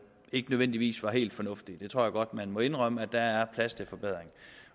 ikke nødvendigvis var helt fornuftige jeg tror godt man må indrømme at der er plads til forbedring